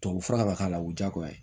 Tubabufura kan ka k'a la o ye diyagoya ye